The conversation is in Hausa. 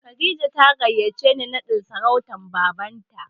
Kadija ta gayyace ni naɗin sarautar Babanta.